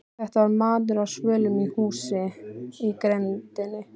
Þetta var maður á svölum á húsi í grenndinni.